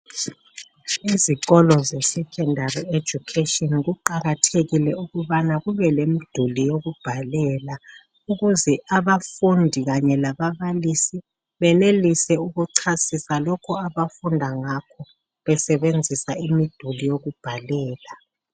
Izikolo zesecondary education, kuqakathekile ukubana kube lemduli yokubhalela. Ukuze abafundi, kanye lababalisi, benelise ukuchasisa lokho, abafunda ngakho. Besebenzisa imiduli yokubhalela.